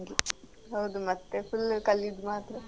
ಹೌದು ಮತ್ತೆ full ಕಲ್ಯುದು ಮಾತ್ರ.